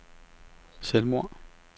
selvmord